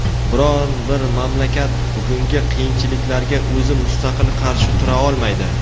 biron bir mamlakat bugungi qiyinchiliklarga o‘zi mustaqil qarshi tura olmaydi.